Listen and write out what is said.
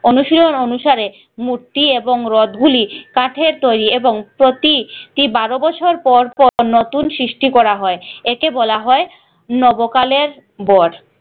অনুশীলন অনুসারে মূর্তি এবং রথ গুলি কাঠের তৈরি এবং প্রতি টি বারো বছর পর পর নতুন সৃষ্টি করা হয় একে বলা হয় নব কালের বর